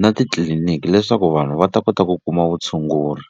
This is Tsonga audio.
na titliliniki leswaku vanhu va ta kota ku kuma vutshunguri.